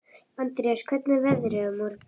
Andreas, hvernig er veðrið á morgun?